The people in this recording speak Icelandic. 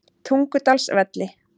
Tungudalsvelli